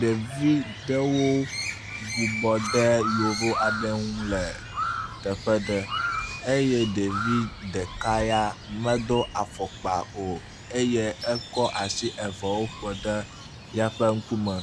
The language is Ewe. Ɖevi ɖewo bubɔ ɖe yovo aɖe ŋu le teƒe ɖe eye ɖevi ɖeka ya medo afɔkpa o eye ekɔ asi eveawo ƒeɖe eƒe ŋkume.